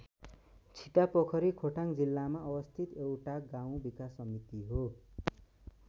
छितापोखरी खोटाङ जिल्लामा अवस्थित एउटा गाउँ विकास समिति हो।